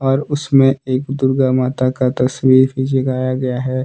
और उसमें एक दुर्गा माता का तस्वीर गया है।